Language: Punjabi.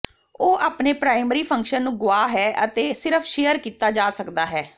ਉਹ ਆਪਣੇ ਪ੍ਰਾਇਮਰੀ ਫੰਕਸ਼ਨ ਨੂੰ ਗੁਆ ਹੈ ਅਤੇ ਸਿਰਫ ਸ਼ੇਅਰ ਕੀਤਾ ਜਾ ਸਕਦਾ ਹੈ